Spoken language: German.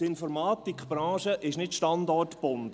Die Informatikbranche ist nicht standortgebunden.